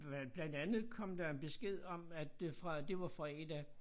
Øh blandt andet kom der besked om at øh fra det var fra 1 af